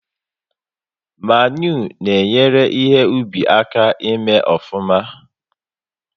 Mmanụ na enyere ihe ubi aka ị mee ofuma